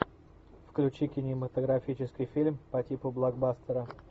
включи кинематографический фильм по типу блокбастера